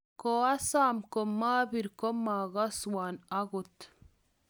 koasom komabir kumakaswon akot